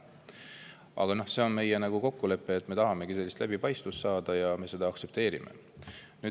Aga see on meie kokkulepe, et me tahame sellist läbipaistvust saada, ja seda me aktsepteerime.